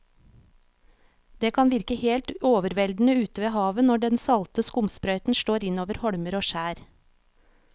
Det kan virke helt overveldende ute ved havet når den salte skumsprøyten slår innover holmer og skjær.